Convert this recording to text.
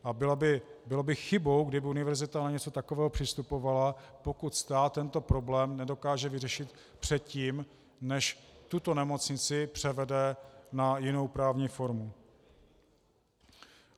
A bylo by chybou, kdyby univerzita na něco takového přistupovala, pokud stát tento problém nedokáže vyřešit předtím, než tuto nemocnici převede na jinou právní formu.